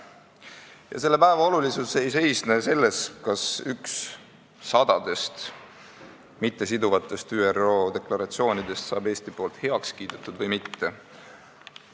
Ja selle päeva olulisus ei seisne selles, kas Eesti kiidab heaks ühe sadadest mittesiduvatest ÜRO deklaratsioonidest või mitte.